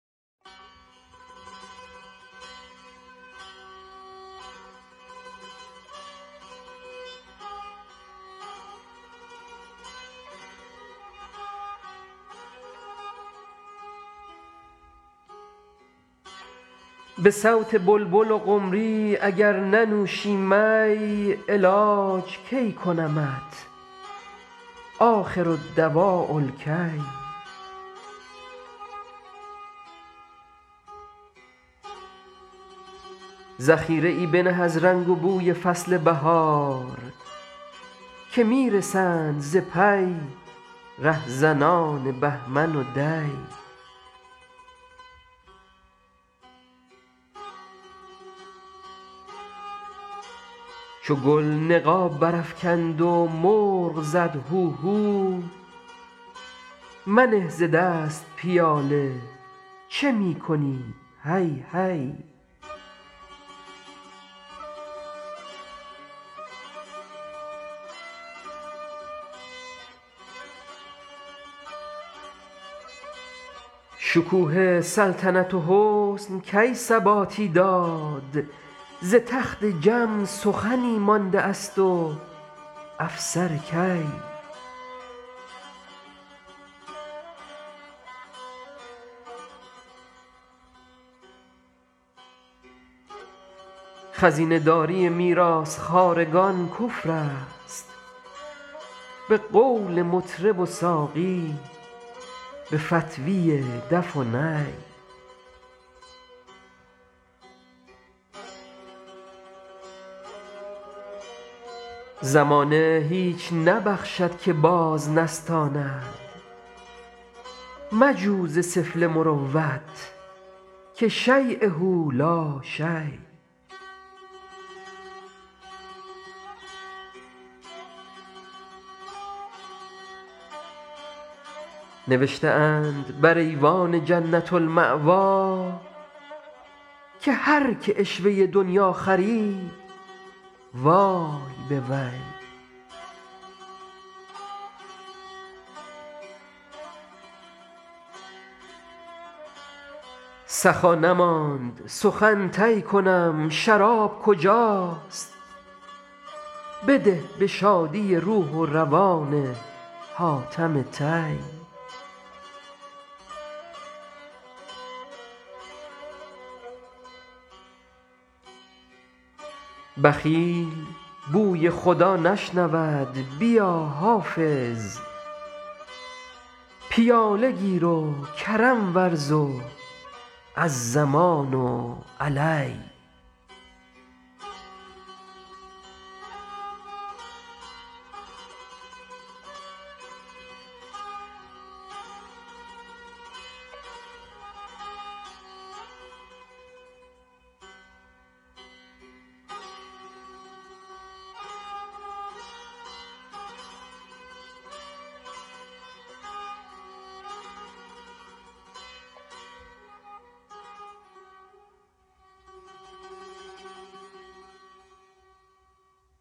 به صوت بلبل و قمری اگر ننوشی می علاج کی کنمت آخرالدواء الکی ذخیره ای بنه از رنگ و بوی فصل بهار که می رسند ز پی رهزنان بهمن و دی چو گل نقاب برافکند و مرغ زد هوهو منه ز دست پیاله چه می کنی هی هی شکوه سلطنت و حسن کی ثباتی داد ز تخت جم سخنی مانده است و افسر کی خزینه داری میراث خوارگان کفر است به قول مطرب و ساقی به فتویٰ دف و نی زمانه هیچ نبخشد که باز نستاند مجو ز سفله مروت که شییه لا شی نوشته اند بر ایوان جنة الماویٰ که هر که عشوه دنییٰ خرید وای به وی سخا نماند سخن طی کنم شراب کجاست بده به شادی روح و روان حاتم طی بخیل بوی خدا نشنود بیا حافظ پیاله گیر و کرم ورز و الضمان علی